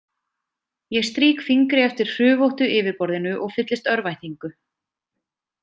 Ég strýk fingri eftir hrufóttu yfirborðinu og fyllist örvæntingu.